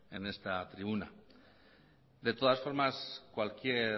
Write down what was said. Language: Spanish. en esta tribuna de todas formas cualquier